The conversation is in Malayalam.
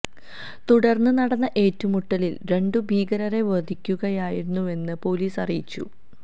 തുടർന്ന് നടന്ന ഏറ്റുമുട്ടലിൽ രണ്ടു ഭീകരരെ വധിക്കുകയായിരുന്നുവെന്ന് പൊലീസ് അറിയിച്ചു